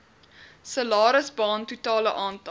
salarisbaan totale aantal